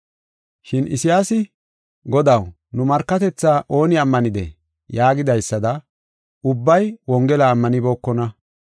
Shin Isayaasi, “Godaw, nu markatethaa ooni ammanidee?” yaagidaysada, ubbay Wongela ammanibookona.